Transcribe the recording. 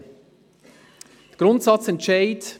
Zum Grundsatzentscheid: